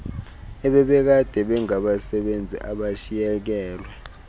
ebebekade bengabasebenzi abashiyekelwe